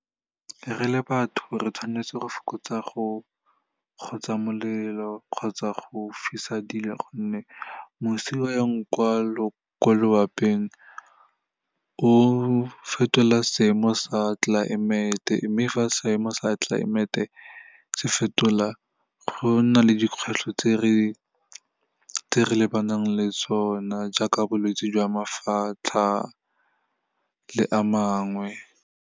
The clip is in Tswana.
Re le batho re tshwanetse go fokotsa go gotsa molelo kgotsa go fisa dilo, gonne mosi o yang kwa loaping, o fetola seemo sa tlelaemete, mme fa seemo sa tlelaemete se fetola, go nna le dikgwetlho tse re lebanang le tsona, jaaka bolwetse jwa mafatlha le a mangwe.